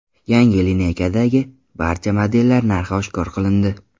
Yangi lineykadagi barcha modellar narxi oshkor qilindi.